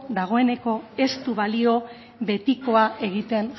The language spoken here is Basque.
dagoeneko ez du balio betikoa egiten